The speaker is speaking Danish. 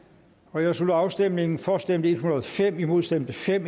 nu jeg slutter afstemningen for stemte en hundrede og fem imod stemte fem